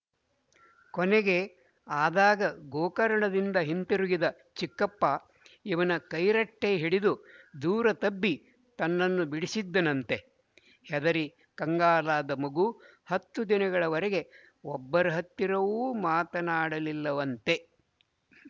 ಕೊನೆಗೆ ಆದಾಗ ಗೋಕರ್ಣದಿಂದ ಹಿಂತಿರುಗಿದ ಚಿಕ್ಕಪ್ಪ ಇವನ ಕೈರಟ್ಟೆ ಹಿಡಿದು ದೂರ ದಬ್ಬಿ ತನ್ನನ್ನು ಬಿಡಿಸಿದ್ದನಂತೆ ಹೆದರಿ ಕಂಗಾಲಾದ ಮಗು ಹತ್ತು ದಿನಗಳ ವರೆಗೆ ಒಬ್ಬರ ಹತ್ತಿರವೂ ಮಾತನಾಡಲಿಲ್ಲವೆಂತೆ